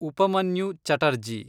Upamanyu Chatterjee